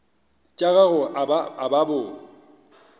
tša gago a ba bo